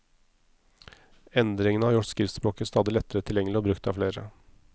Endringene har gjort skriftspråket stadig lettere tilgjengelig og brukt av flere.